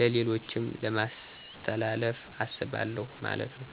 ለሌሎችም ለማሥተላለፍ አስባለሁ ማለት ነው።